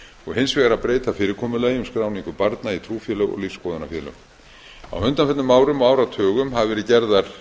og hins vegar að breyta fyrirkomulagi um skráningu barna í trúfélög og lífsskoðunarfélög á undanförnum árum og áratugum hafa verið gerðar